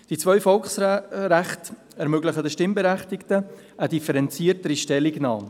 Die zwei Volksrechte ermöglichen den Stimmberechtigten eine differenziertere Stellungnahme.